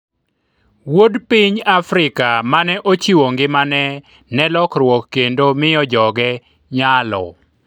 wuod piny Afrika mane ochiwo ngimane ne lokruok kendo miyo joge nyalo